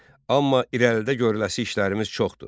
Amma irəlidə görüləsi işlərimiz çoxdur.